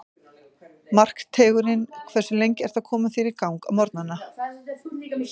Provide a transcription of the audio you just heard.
Markteigurinn Hversu lengi ertu að koma þér í gang á morgnanna?